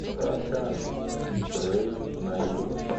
салют раша из рэйв на ютуб